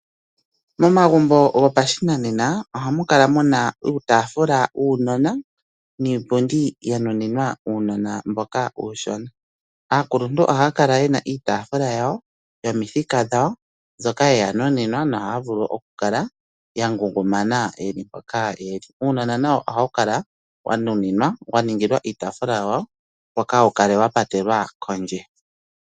Momagumbo go pashinanena ohamu kala muna uutaafula wuunona niipundi ya nuninwa uunona mboka uushona, aakuluntu ohaya kala ye na iitaafula yawo yomithika dhawo mbyoka yeya nuninwa nohaya vulu oku kala ya ngundumana yeli mpoka yeli, uunona nawo ohawu kala wa nuninwa wa ningilwa iitaafula opo kawu kale wa patelwa kondje.